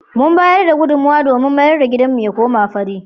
Mun bayar da gudunmowa domin mayar da gidanmu ya koma fari.